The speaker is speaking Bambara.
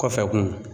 Kɔfɛ kun